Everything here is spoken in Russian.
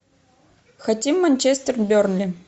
хотим манчестер бернли